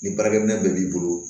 Ni baarakɛminɛn bɛɛ b'i bolo